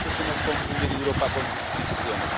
veces hemos confundido Europa con sus instituciones.